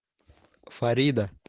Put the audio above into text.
фарида